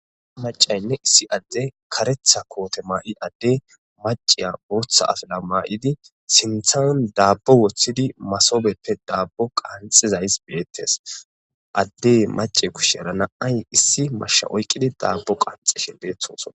Macaynne issi adde kareeththa koote maa'i adde maciya booththa afala maa'idi siinththan daabbo woththidi masobeppe daabbo qanxizays beettes addey mace kushera na'ay issi mashsha oykqidi daabbo qanxeshe beettosona